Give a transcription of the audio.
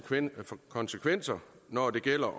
konsekvenser når det gælder